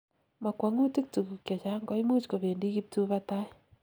mokwongutik tuguk chechang koimuch kobendi kibtubatai